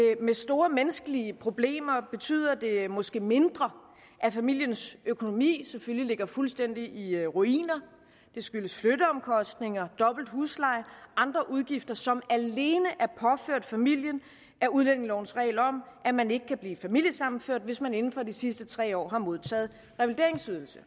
store menneskelige problemer betyder det måske mindre at familiens økonomi selvfølgelig ligger fuldstændig i ruiner det skyldes flytteomkostninger dobbelt husleje og andre udgifter som alene er påført familien af udlændingelovens regel om at man ikke kan blive familiesammenført hvis man inden for de sidste tre år har modtaget revalideringsydelse